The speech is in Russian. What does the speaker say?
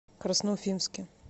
красноуфимске